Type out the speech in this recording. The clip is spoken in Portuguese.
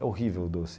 É horrível o doce.